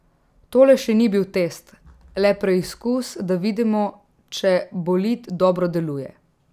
Tole še ni bil test, le preizkus, da vidimo, če bolid dobro deluje.